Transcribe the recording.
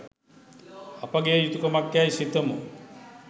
අපගේ යුතුකමක්යැයි සිතමු